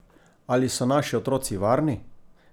Ali so naši otroci varni?